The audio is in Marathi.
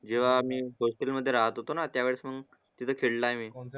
जेवा आम्ही होस्टेल मदे राहत होतो ना त्या वेळेस मंग तिते खेळलाय मी